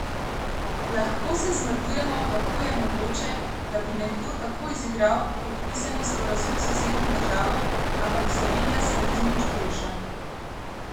Lahko se zmrdujemo, kako je mogoče, da bi nekdo tako izigral podpisani sporazum s sosednjo državo, ampak Slovenija se ne zdi nič boljša.